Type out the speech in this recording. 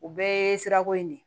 U bɛɛ ye sirako in de ye